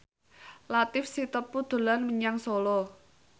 Latief Sitepu dolan menyang Solo